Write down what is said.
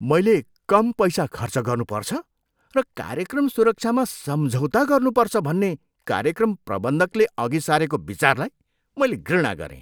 मैले कम पैसा खर्च गर्नुपर्छ र कार्यक्रम सुरक्षामा सम्झौता गर्नुपर्छ भन्ने कार्यक्रम प्रबन्धकले अघि सारेको विचारलाई मैले घृणा गरेँ।